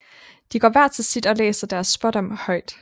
De går hver til sit og læser deres spådom højt